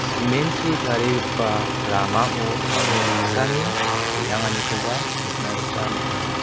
cement-chi tarigipa ramao mande saksani re·anganikoba nikna gita man·enga.